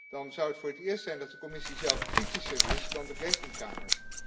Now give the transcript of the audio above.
Dan zou het voor het eerst zijn dat de Commissie zelf kritischer is dan de Rekenkamer.